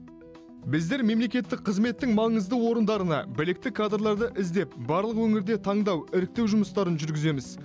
біздер мемлекеттік қызметтің маңызды орындарына білікті кадрларды іздеп барлық өңірде таңдау іріктеу жұмыстарын жүргіземіз